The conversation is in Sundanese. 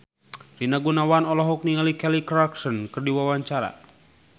Rina Gunawan olohok ningali Kelly Clarkson keur diwawancara